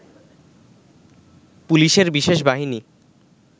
পুলিশের বিশেষ বাহিনী